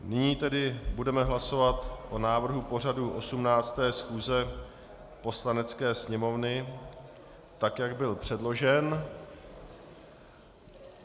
Nyní tedy budeme hlasovat o návrhu pořadu 18. schůze Poslanecké sněmovny tak, jak byl předložen.